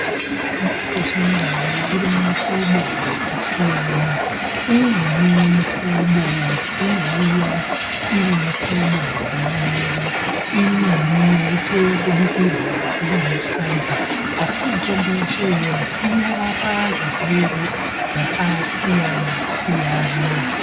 Mitombo yedu yeChindau iri mumihlobo yakasiyana. Imweni mihlobo inouya iri muhlobo inomwiwa. Imweni touye kubikirwa iri musadza, asi mitombo yoshe iyoyo inorapa zvirwere zvaksiyana siyana.